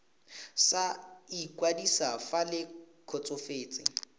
sa ikwadiso fa le kgotsofetse